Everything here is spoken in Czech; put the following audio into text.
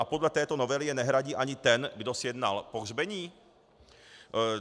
A podle této novely je nehradí ani ten, kdo sjednal pohřbení?